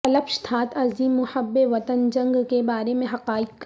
الپشتھات عظیم محب وطن جنگ کے بارے میں حقائق